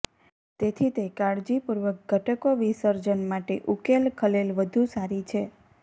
તેથી તે કાળજીપૂર્વક ઘટકો વિસર્જન માટે ઉકેલ ખલેલ વધુ સારી છે